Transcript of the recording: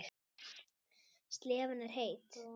Slefan er heit.